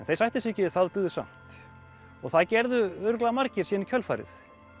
þeir sættu sig ekki við það og byggðu samt og það gerðu örugglega margir síðan í kjölfarið